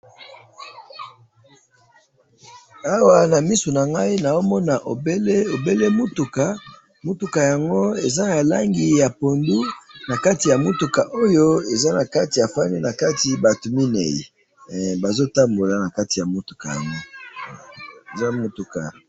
Na moni mutuka na langi ya pondu na batu mine bafandi na kati.